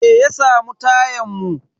Me ya samu tayan mu?